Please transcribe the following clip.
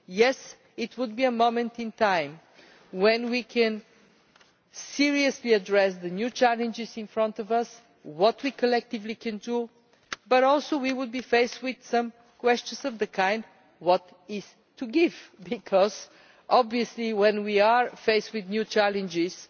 Yes, it will be a moment in time when we can seriously address the new challenges in front of us, what we collectively can do, but we will be faced with questions of the kind what is to give', because when we are faced with new challenges